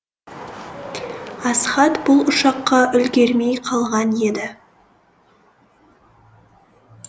асхат бұл ұшаққа үлгермей қалған еді